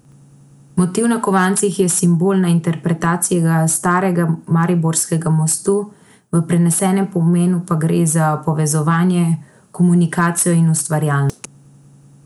Motiv na kovancih je simbolna interpretacija starega mariborskega mostu, v prenesenem pomenu pa gre za povezovanje, komunikacijo in ustvarjalnost.